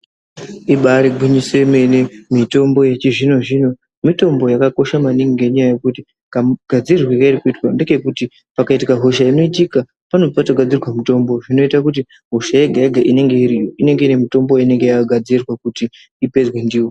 Ibari gwinyiso yemene, mitombo yechizvino-zvino mitombo yakakosha maningi, ngenyaya yekuti kamugadzirirwe kairi kuitwa ndekekuti pakaitika hosha inoitika, pane patogadzirwa mutombo. Zvinoita kuti hosha yega-yega inenge iriyo inenge ine mitombo inenge yakagadzirwa kuti ipedzwe ndiyo.